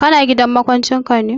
Ka na gidan maƙwancin ka ne?